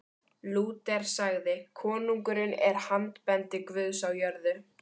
Lúter sagði: Konungurinn er handbendi Guðs á jörðu.